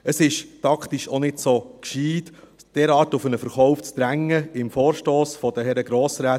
Es ist taktisch auch nicht so gescheit, derart auf einen Verkauf zu drängen – im Vorstoss der Herren Grossräte